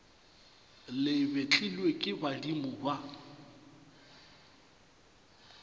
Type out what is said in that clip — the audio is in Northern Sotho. le betlilwe ke badimo ba